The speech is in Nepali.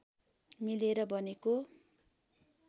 मिलेर बनेको